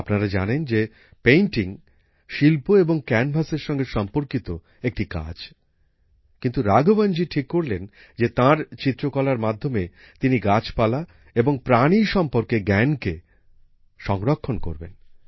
আপনারা জানেন যে পেইন্টিং শিল্প এবং ক্যানভাসের সঙ্গে সম্পর্কিত একটি কাজ কিন্তু রাঘওয়নজী ঠিক করলেন যে তার চিত্রকলার মাধ্যমে তিনি গাছপালা এবং প্রাণী সম্পর্কে জ্ঞানকে সংরক্ষণ করবেন